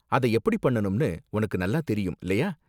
அத எப்படி பண்ணனும்னு உனக்கு நல்லா தெரியும், இல்லயா?